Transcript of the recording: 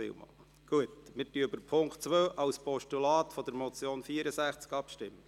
Wir stimmen nun über den Punkt 2 der Motion Graber als Postulat ab.